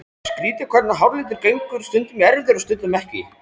Skrýtið hvernig háralitur gengur stundum í erfðir og stundum ekki.